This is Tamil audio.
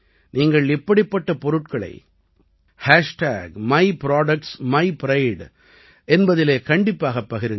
நீங்கள் இப்படிப்பட்ட பொருட்களை myproductsmypride என்பதில் கண்டிப்பாகப் பகிருங்கள்